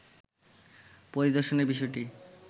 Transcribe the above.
পরিদর্শনের বিষয়টি